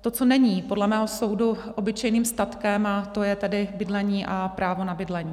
to, co není podle mého soudu obyčejným statkem, a to je tedy bydlení a právo na bydlení.